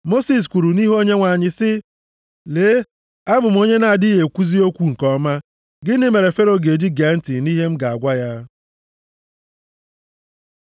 Mosis kwuru nʼihu Onyenwe anyị sị, “Lee, abụ m onye na-adịghị ekwuzi okwu nke ọma, gịnị mere Fero ga-eji gee ntị nʼihe m ga-agwa ya?”